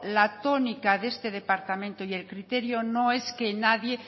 la tónica de este departamento y el criterio no es que nadie